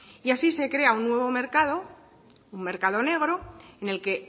así se crea un nuevo mercado un mercado negro en el que